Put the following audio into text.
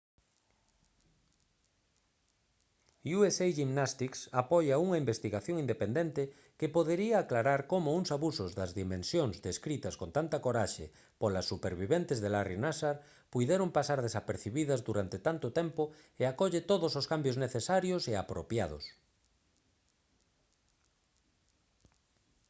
usa gymnastics apoia unha investigación independente que podería aclarar como uns abusos das dimensións descritas con tanta coraxe polas superviventes de larry nassar puideron pasar desapercibidas durante tanto tempo e acolle todos os cambios necesarios e apropiados